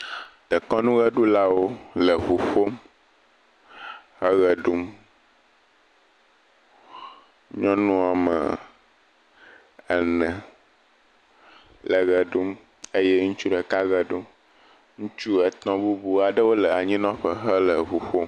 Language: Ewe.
Dekɔnuɣeɖulawo le ewu ƒom eɣe ɖum. Nyɔnua me ene le eme ɖum eye ŋutsu ɖeka me ɖum. Ŋutsu etɔ aɖe le anyinɔƒe hele eʋu ƒom.